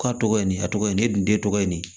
K'a tɔgɔ ye nin a tɔgɔ ye nin ne dun de tɔgɔ ye nin